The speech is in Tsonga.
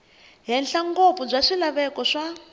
henhla ngopfu bya swilaveko swa